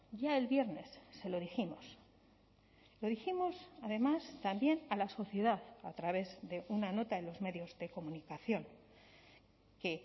ya el viernes se lo dijimos lo dijimos además también a la sociedad a través de una nota en los medios de comunicación que